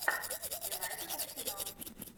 юнайтед арсенал